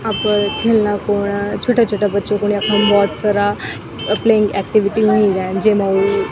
अपर ख्यलना खुन छुट्टा-छुट्टा बच्चो खुन यखम भोत सारा प्लेयिंग एक्टिविटी हुई रेंद जेमा वू --